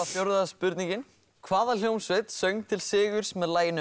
fjórða spurningin hvaða hljómsveit söng til sigurs með laginu